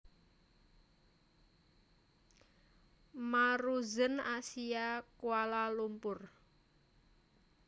Maruzen Asia Kuala Lumpur